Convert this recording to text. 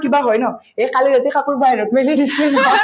কিবা হয় ন এই কালি ৰাতি কাপোৰ বাহিৰত মেলি দিছলি নহয়